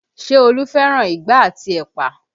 Ṣé Olu fẹ́ràn igbá àti ẹ̀pà?